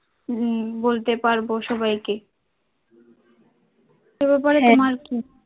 উম পারবো সবাইকে,